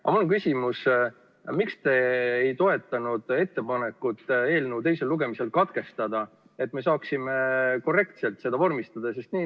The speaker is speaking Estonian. Aga mul on küsimus: miks te ei toetanud ettepanekut eelnõu teisel lugemisel katkestada, et me saaksime selle korrektselt vormistada?